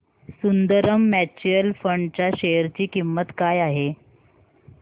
Sundaram mutual fund च्या share ची किंमत काय आहे सांगा